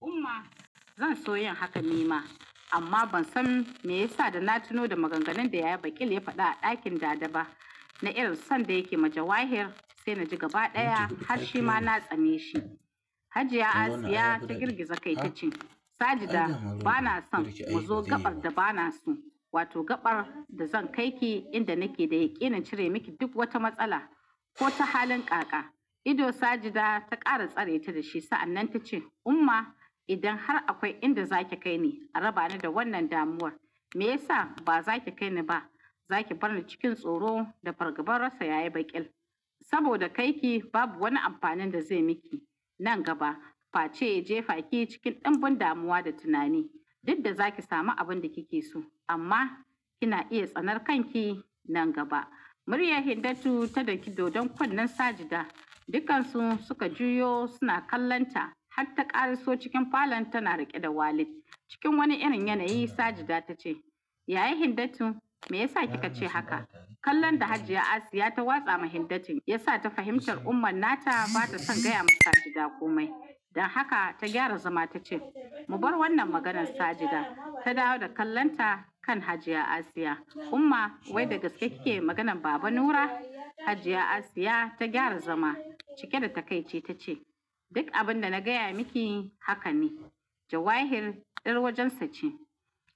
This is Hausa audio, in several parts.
Umma, zan so yin haka ni ma, amma ban san me yasa da na tuno da maganganun da yayabail ya faɗa a ɗakin dada ba, na irin sanda yake ma Jawair sai na ji gaba ɗaya harshe ma na tsane shi. Hajiya Asiya ta girgiza kai ta ce, "Sajida, bana son mu zo gaɓar da ba na so, wato gaɓar da zan kai ki inda nake da yake ina cire miki duk wata matsala ko ta halin kaka." Ido Sajida ta ƙara tsare ta da shi, sa'anan ta ce, "Umma, idan har akwai inda zaki kai ni a raba ni da wannan damuwar, me ya sa ba zaki kai ni ba? Zaki bar ni cikin tsoro da fargabar rasa yayabail, saboda kai ki babu wani amfanin da zai miki nan gaba. Face je, faki cikin ɗanbun damuwa da tunani. Diddan zaki sami abin da kike so, amma kina iya tsanar kanki nan gaba." Maryam Hindatu ta ɗaki dodon kunnen Sajida, dukansu suka juyo suna kallon ta har ta ƙara so cikin falon tana riƙe da Walid. Cikin wani irin yanayi Sajida ta ce, "Yayai Hindatu, me yasa kikace haka?" Kallon da Hajiya Asiya ta watsa ma Hindatu ya sa ta fahimci ummar nata bata son gaya mata Sajida komai. Dan haka ta gyara zama ta ce, "Mu bar wannan maganan Sajida." Ta dawo da kallonta kan Hajiya Asiya. "Umma, wai daga sai keke maganan Baba Nura." Hajiya Asiya ta gyara zama, cike da takaici ta ce, "Duk abin da na gaya miki haka ne. Jawair ɗan wajensa ce.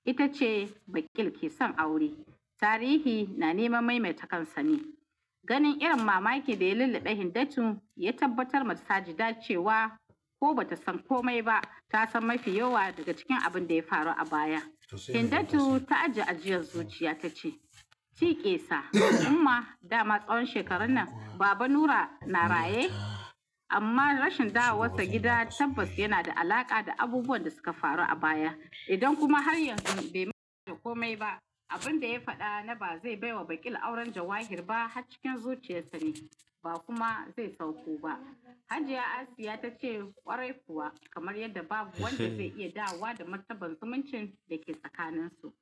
Ita ce Bakil ke son aure. Tarihi na neman maimaita kansa ne." Ganin irin mamaki da ya lillaɗe Hindatu ya tabbatar mata Sajida cewa ko bata san komai ba, ta san mafi yawa daga cikin abun da ya faru a bayan Hindatu ta aji ajiyar zuciya ta ce, "Ciƙe sa, umma, dama tsawon shekarun nan Baba Nura na raye, amma rashin dawo sa gida tabbas yana da alaƙa da abubuwan da suka faru a baya. Idan kuma har yanzu bai ma komai ba, abin da ya faɗa na ba zai bai wa Bakil auren Jawair ba a cikin zuciyarsa ne, ba kuma zai sauko ba." Hajiya Asiya ta ce ƙwarai kuwa, kamar yadda babu wanda zai iya dawo da martaban zumuncin da ke tsakaninsu.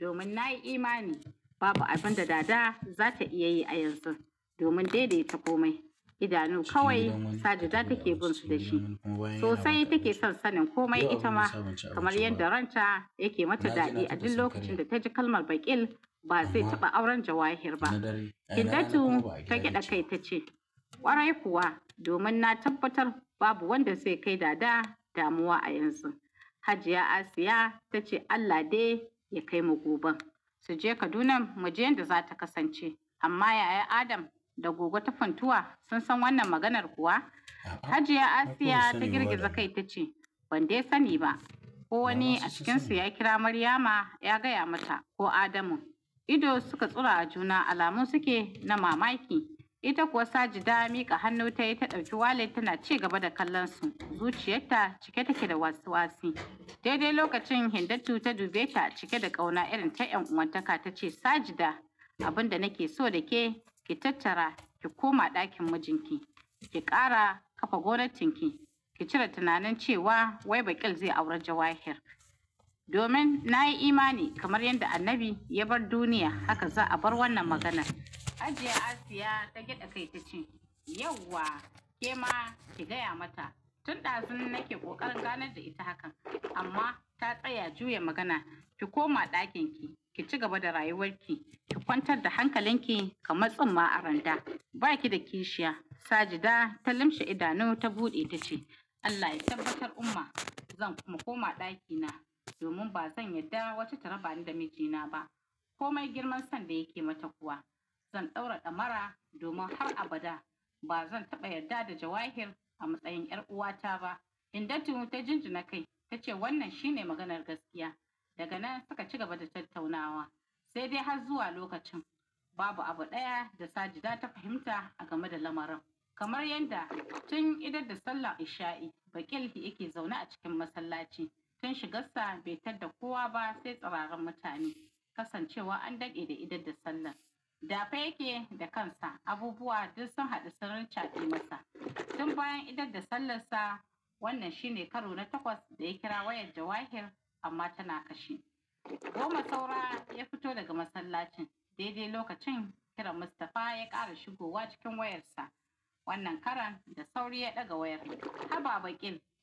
Domin na yi imani babu abin da daɗa zata iya yi a yanzu, domin dai dai ta komai. Idanu kawai Sajida take bin su da shi. Sosai take son sanin komai ita ma, kamar yadda ranta yake mata daɗi. A duk lokacin da ta ji kalmar Bakil ba zai taɓa auren Jawair ba. Hiddatu ta gida jai ta ce "Kwarai kuwa domin na tabbatar babu wanda zai kai dada a yanzu" hajiya Asiya ta ce Allah dai ya kaimu goben, su je Kadunan muji yanda zata kasance amma, yaya adam da gogo ta funtuwa sun san wannan maganar kuwa? Hajiya Asiya ta girgiza kai ta ce, "Ban dai sani ba. Ko wani a cikin su ya kira Maryama ya gaya mata ido suka tsura a juna alamun suke na mamaki. Ita kuwa Sajida, miƙa hannu ta yi ta ɗauki Walid tana ci gaba da kallon su. Zuciyarta cike take da wasu wasu. Daidai lokacin Hindatu ta dube ta da cike da ƙauna irin ta yan'uwantaka ta ce "Sajida, abun da nake so da ke ki tattara ki koma ɗakin mijin ki, ki ƙara ƙafa gwamnatin ki domin na yi imani kamar yadda Annabi ya bar duniya, haka za a bar wannan maganan." Hajiya Asiya ta gyaɗa kai ta ce, "Yauwa ke ma ki gaya mata. Tun ɗazu nake koƙarin gannad da ita hakan, amma ta tsaya juya magana. Ki koma ɗakinki, ki ci gaba da rayuwarki, ki kwantar da hankalinki kamar tsumma a randa. Ba ki da kishiya." Sajida ta limshe idanu ta buɗe ta ce, "Allah ya tabbatar Umma, zan kuma koma ɗakina, domin ba zan yadda wata taraba ni da mijina ba. Komai girman son da yake mata kuwa, zan ɗaura damara domin har abada ba zan taɓa yadda da Jawahir a matsayin yar uwata ba Hindatu ta jinji na kai ta ce, "Wannan shine maganar gaskiya." Daga nan suka ci gaba da tattaunawa, sai dai har zuwa lokacin. Babu abu ɗaya da Sajida ta fahimta game da lamarin, kamar yadda tun idar da sallar isha'i, Bakil yake zaune a cikin masallaci. Tun shigarsa bai tadda kowa ba sai dafe yake da kansa, abubuwa duk sun haɗu sun rancade masa. Tun bayan idar da sallansa wannan shi ne na ta goma saura ya fito daga masallacin. Daidai lokacin kiran Mustafa ya ƙara shigowa cikin wayarsa. Wannan karan da sauri ya ɗaga wayar. "Habiba Bakil."